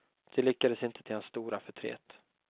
Det lyckades inte till hans stora förtret.